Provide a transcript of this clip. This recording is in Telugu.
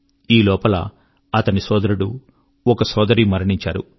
ఈ లోపల అతని సోదరుడు ఒక సోదరి మరణించారు